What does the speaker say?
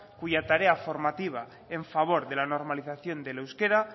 cuya tarea formativa en favor de la normalización del euskera